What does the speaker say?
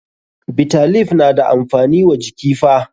Bitter leaf na da amfani wa jiki fa.